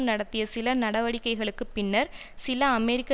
நடத்திய சில நடவடிக்கைகளுக்கு பின்னர் சில அமெரிக்க